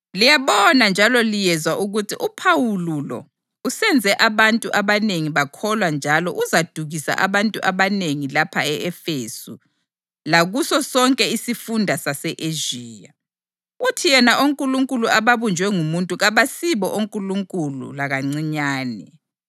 Liyabona njalo liyezwa ukuthi uPhawuli lo usenze abantu abanengi bakholwa njalo uzadukisa abantu abanengi lapha e-Efesu lakuso sonke isifunda sase-Ezhiya. Uthi yena onkulunkulu ababunjwe ngumuntu kabasibo onkulunkulu lakancinyane.